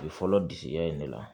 Bi fɔlɔ disiya in de la